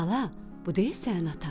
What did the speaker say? “Bala, bu deyil sənin atan?”